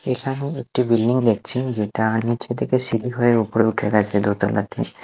এখানে একটি বিল্ডিং দেখছেন যেটা নীচে থেকে সিঁড়ি হয়ে ওপরে উঠে গেছে দোতলা দিয়ে।